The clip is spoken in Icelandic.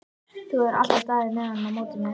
Þú hefur alltaf staðið með honum á móti mér.